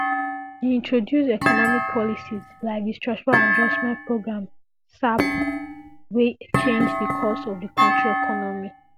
e introduce economic policies like di structural adjustment programme sap wey change di course of di kontri economy